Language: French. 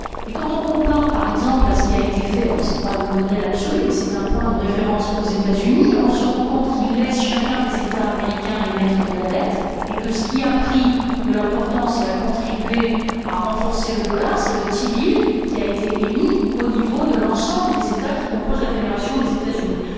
Quand on compare, par exemple, avec ce qui a été fait ce n'est pas le modèle absolu, mais c'est un point de référence aux États Unis, on se rend compte que cela laisse chacun des États américains émettre de la dette et que ce qui a pris de l'importance et a contribué à renforcer le dollar, c'est le T Bill, qui a été émis au niveau de l'ensemble des États qui composent la fédération des États Unis.